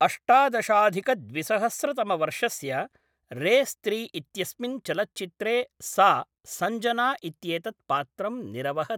अष्टादशाधिकद्विसहस्रतमवर्षस्य race त्रि इत्यस्मिन् चलच्चित्रे सा सञ्जना इत्येतत्पात्रम् निरवहत्।